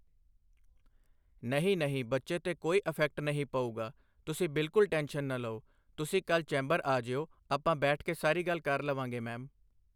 ਨਹੀਂ ਨਹੀਂ ਬੱਚੇ 'ਤੇ ਕੋਈ ਈਫੈਕਟ ਨਹੀਂ ਪਊਗਾ ਤੁਸੀਂ ਬਿਲਕੁਲ ਟੈਨਸ਼ਨ ਨਾ ਲਓ ਤੁਸੀਂ ਕੱਲ੍ਹ ਚੈਂਬਰ ਆ ਜਾਇਉ ਆਪਾਂ ਬੈਠ ਕੇ ਸਾਰੀ ਗੱਲ ਕਰ ਲਵਾਂਗੇ ਮੈਮ।